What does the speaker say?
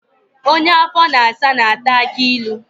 Onye afọ na-asa na-ata akị ilu